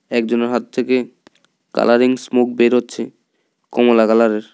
একজনের হাত থেকে কালারিং স্মোক বেরোচ্ছে কমলা কালারের ।